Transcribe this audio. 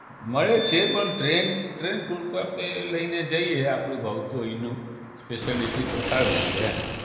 મળે છે પણ train પૂરતા આપણે લઈને જઈએ આપણે ભાવતું હોય અહીનું speciality તો સારું રીયે એમ